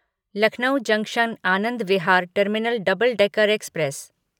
Lucknow junction Anand Vihar terminal double decker express